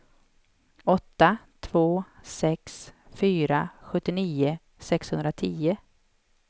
åtta två sex fyra sjuttionio sexhundratio